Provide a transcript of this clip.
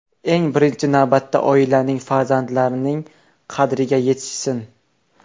Eng birinchi navbatda oilaning, farzandlarining qadriga yetishsin.